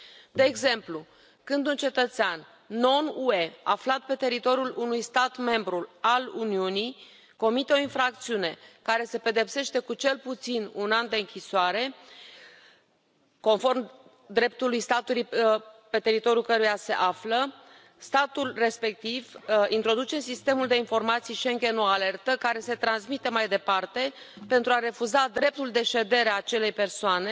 De exemplu, când un cetățean non UE aflat pe teritoriul unui stat membru al Uniunii comite o infracțiune care se pedepsește cu cel puțin un an de închisoare, conform dreptului statului pe teritoriul căruia se află, statul respectiv introduce în Sistemul de Informații Schengen o alertă care se transmite mai departe, pentru a refuza dreptul de ședere al acelei persoane